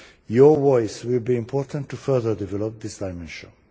Your voice will be important to further develop this dimension.